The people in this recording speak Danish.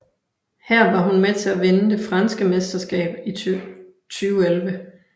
Her var hun med til at vinde det franske mesterskab i 2011